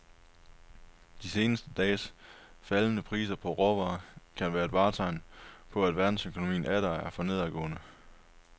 De seneste dages faldende priser på råvarer kan være et tegn på, at verdensøkonomien atter er for nedadgående.